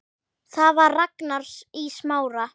Það var Ragnar í Smára.